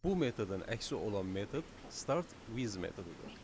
Bu metodun əksi olan metod start with metodudur.